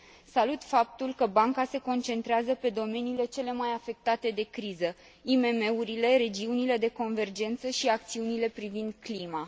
Salut faptul că banca se concentrează pe domeniile cele mai afectate de criză, IMM urile, regiunile de convergență și acțiunile privind clima.